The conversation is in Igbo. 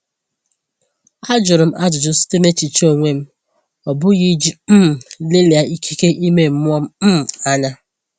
A jụrụ m ajụjụ site n’echiche onwe m, ọ bụghị iji um lelia ikike ime mmụọ um anya.